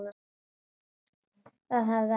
Það hefði ekkert þýtt.